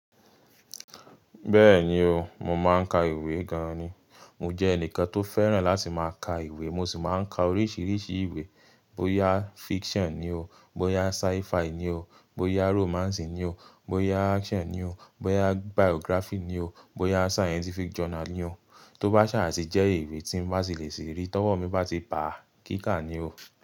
Bẹ́ẹ̀ni o, mo máa ń ka ìwé gan-an ni. Mo jẹ́ ẹnìkan tó fẹ́ràn láti máa ka ìwé, mo sì máa ń ka oríṣiríṣi ìwé, bóyá fiction ni o, bóyá sci-fi ni o, bóyá romance ni o, bóyá action ni o, bóyá biography ni o, bóyá scientific journal ni o. Tóbá ṣà sì jẹ́ ìwé tí n bá sì lè sì rí, tọ́wọ́ mi bá ti ba á, kíkà ni o.